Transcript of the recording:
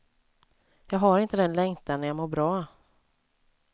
Jag har inte den längtan när jag mår bra.